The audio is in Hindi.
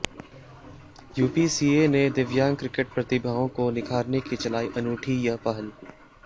यूपीसीए ने दिव्यांग क्रिकेट प्रतिभाओं को निखारने की चलाई अनूठी ये पहल